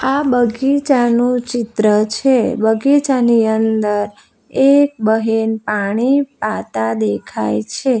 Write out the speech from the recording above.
આ બગીચાનું ચિત્ર છે બગીચાની અંદર એક બહેન પાણી પાતા દેખાય છે.